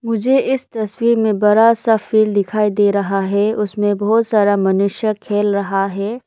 मुझे इस तस्वीर में बड़ा सा फील्ड दिखाई दे रहा है उसमें बहुत सारा मनुष्य खेल रहा है।